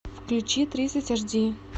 включи тридцать аш ди